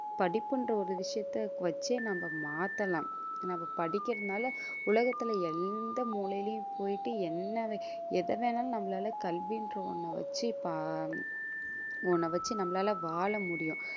படிப்புன்ற ஒரு விஷயத்தை வெச்சே நம்ம மாத்தலாம் நம்ம படிக்கிறதினால உலகத்தில எந்த மூலையிலயும் போயிட்டு என்ன எதை வேணாலும் நம்மளால கல்வின்ற ஒண்ண வச்சு பா~ ஒண்ண வச்சு நம்மளால வாழ முடியும்.